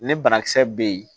Ne banakisɛ bɛ yen